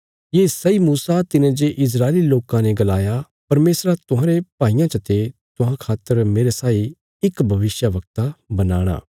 ये सैई मूसा तिने जे इस्राएली लोकां ने गलाया परमेशरा तुहांरे भाईयां चते तुहां खातर मेरे साई इक भविष्यवक्ता बनाणा